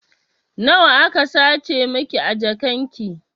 Nawa aka sace miki a jakan ki?